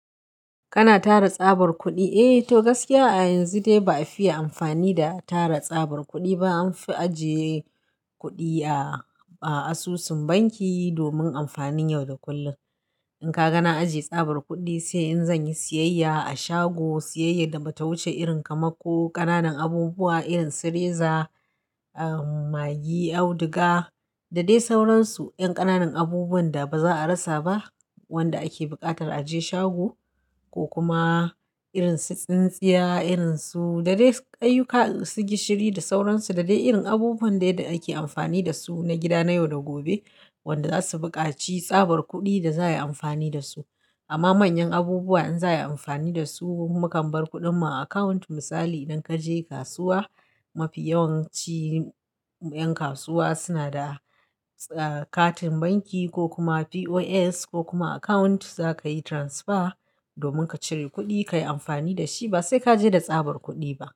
Kana tara tsabar kuɗi? Eh to gaskiya a yanzu dai ba a fiye amfani da tara tsabar kuɗi ba. An fi ajiye kuɗi a asusun banki domin amfanin yau da kullum. In ka gane ajiye tsabar kuɗi, sai in zan yi siyayya a shago, siyayya da ba ta wuce irin kamar ko ƙananan abubuwa irin su reza, ah maggi, auduga da dai sauransu 'yan ƙananan abubuwan da ba za a rasa ba wanda ake buƙatar a je shago ko kuma irin su tsintsiya irin su da dai kayayyaki masu gishiri da sauransu da dai irin abubuwan da ake amfani da su na gida na yau da gobe wanda za su buƙaci tsabar kuɗi da za a yi amfani da su. Amma manyan abubuwa in za a yi amfani da su, mu kam bar kuɗin mu a akawunt. Misali idan ka je kasuwa, mafi yawanci 'yan kasuwa suna da ah katin banki ko kuma POS ko kuma akawunt za ka yi transfer domin ka cire kuɗi ka yi amfani da shi ba sai ka je da tsabar kuɗi ba.